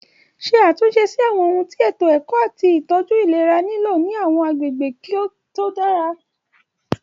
Ṣe àtúnṣe sí àwọn ohun tí ètò ẹ̀kọ́ àti ìtọ́jú ìlera nílò ní àwọn agbègbè tí kò dára.